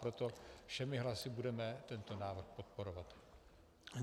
Proto všemi hlasy budeme tento návrh podporovat.